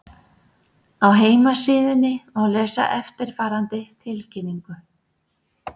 Á heimasíðunni má lesa eftirfarandi tilkynningu